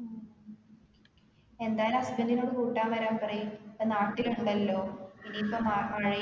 ഉം എന്തായാലും husband നോട് കൂട്ടാൻ വരാൻ പറയി ഏർ നാട്ടിൽ ഇണ്ടല്ലോ ഇനി